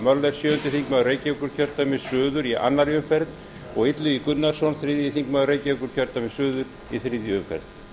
sjöundi þingmaður reykjavíkurkjördæmis suður í annarri umferð og illugi gunnarsson þriðji þingmaður reykv sí þriðju umferð